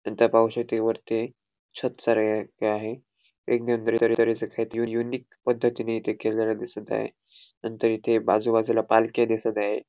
नंतर पाहू शकतो वरती छत सारे हे आहे युनिक पद्धतीने इथे केलेल दिसत आहे नंतर इथे बाजूबाजूला पालख्या आहे.